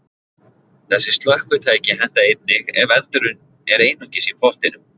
Þessi slökkvitæki henta einnig ef eldurinn er einungis í pottinum.